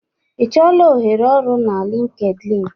Ị chọọla ohere ọrụ na LinkedIn?